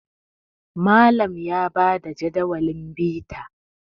Malam ya ba da Jadawalin bita